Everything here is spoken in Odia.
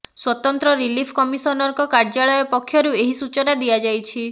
ସ୍ୱତନ୍ତ୍ର ରିଲିଫ କମିଶନରଙ୍କ କାର୍ଯ୍ୟାଳୟ ପକ୍ଷରୁ ଏହି ସୂଚନା ଦିଆଯାଇଛି